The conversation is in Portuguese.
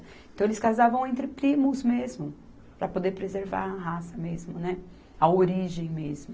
Então eles casavam entre primos mesmo, para poder preservar a raça mesmo, né, a origem mesmo.